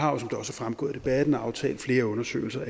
fremgået af debatten allerede aftalt flere undersøgelser